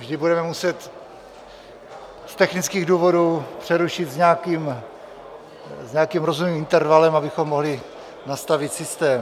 Vždy budeme muset z technických důvodů přerušit s nějakým rozumným intervalem, abychom mohli nastavit systém.